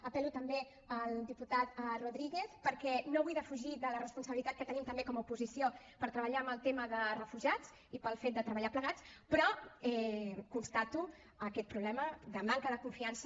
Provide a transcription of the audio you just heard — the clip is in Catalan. apel·lo també al diputat rodríguez perquè no vull defugir la responsabilitat que tenim també com a oposició per treballar en el tema de refugiats i pel fet de treballar plegats però constato aquest problema de manca de confiança